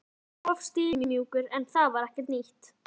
Henni fannst hann of stimamjúkur en það var ekkert nýtt.